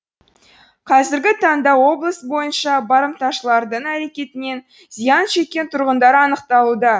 қазіргі таңда облыс бойынша барымташылардың әрекетінен зиян шеккен тұрғындар анықталуда